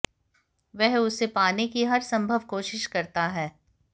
वह उसे पाने की हर संभव कोशिश करता है